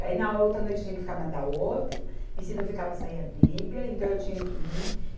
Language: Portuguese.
Aí na outra noite eu tinha que ficar na da outra, e se não ficava saía briga, então eu tinha que ir.